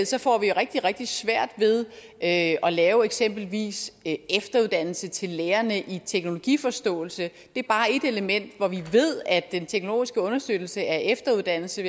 så får vi rigtig rigtig svært ved at lave eksempelvis en efteruddannelse til lærerne i teknologiforståelse det er bare et element hvor vi ved at den teknologiske understøttelse af efteruddannelse